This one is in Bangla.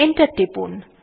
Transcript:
এন্টার টিপুন